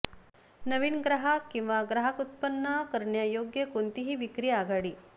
नवीन ग्राहक किंवा ग्राहक व्युत्पन्न करण्यायोग्य कोणतीही विक्री आघाडी